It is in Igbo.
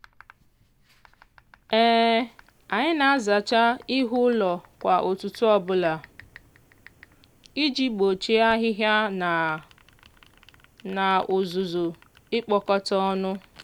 anyị na-azacha ihu ụlọ kwa ụtụtụ ọbụla iji gbochie ahịhịa na na uzuzu ikpokota ọnụ.